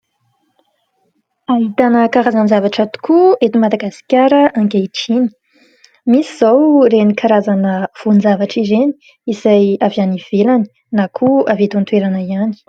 Ahitana karazan-javatra tokoa eto Madagasikara ankehitriny. Misy izao ireny karazana voan-javatra ireny izay avy any ivelany na koa avy eto an-toerana ihany.